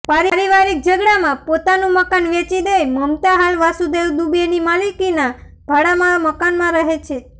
પારિવારીક ઝઘડામાં પોતાનું મકાન વેચી દઇ મમતા હાલ વાસુદેવ દુબેની માલિકીના ભાડાના મકાનમાં રહે છે